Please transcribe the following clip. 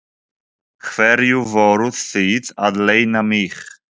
Hverju voruð þið að leyna mig?